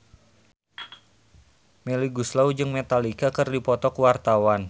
Melly Goeslaw jeung Metallica keur dipoto ku wartawan